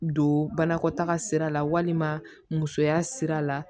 Don banakɔtaga sira la walima musoya sira la